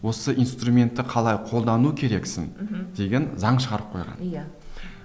осы инструментті қалай қолдану керексің мхм деген заң шығарып қойған иә